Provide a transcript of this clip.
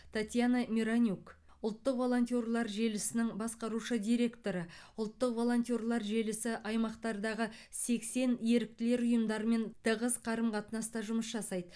татьяна миронюк ұлттық волонтерлар желісінің басқарушы директоры ұлттық волонтерлар желісі аймақтардағы сексен еріктілер ұйымдарымен тығыз қарым қатынаста жұмыс жасайды